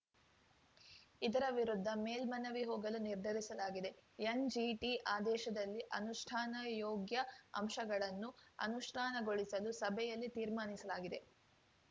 ಇದರ ವಿರುದ್ಧ ಮೇಲ್ಮನವಿ ಹೋಗಲು ನಿರ್ಧರಿಸಲಾಗಿದೆ ಎನ್‌ಜಿಟಿ ಆದೇಶದಲ್ಲಿ ಅನುಷ್ಠಾನ ಯೋಗ್ಯ ಅಂಶಗಳನ್ನು ಅನುಷ್ಠಾನಗೊಳಿಸಲು ಸಭೆಯಲ್ಲಿ ತೀರ್ಮಾನಿಸಲಾಗಿದೆ